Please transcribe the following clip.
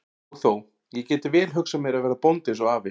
Og þó, ég gæti vel hugsað mér að verða bóndi eins og afi.